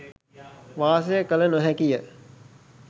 වාසය කළ නොහැකිය.